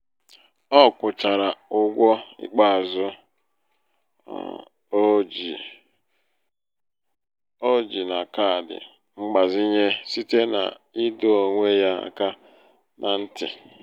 ọ kwụchara ụgwọ ikpeazụ um o ji um o ji na kaadị mgbazinye site n' ịdọ onwe ya aka na um ntị..